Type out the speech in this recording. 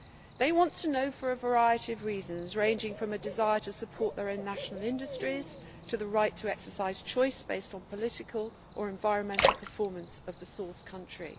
They want to know for a variety of reasons, ranging from a desire to support their own national industries to the right to exercise choice based on the political or environmental performance of the source country.